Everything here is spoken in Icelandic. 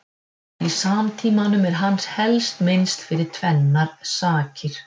Í samtímanum er hans helst minnst fyrir tvennar sakir.